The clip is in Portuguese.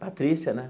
Patrícia, né?